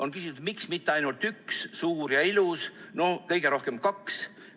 On küsitud, miks mitte ainult üks, suur ja ilus, või kõige rohkem kaks.